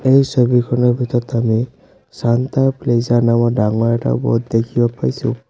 এই ছবিখনত ভিতৰত আমি ছান্টা প্লেজা নামৰ ডাঙৰ এটা বোৰ্ড দেখিব পাইছোঁ।